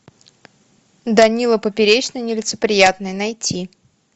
данила поперечный нелицеприятный найти